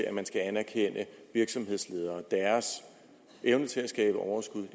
at man skal anerkende virksomhedsledere og deres evne til at skabe overskud i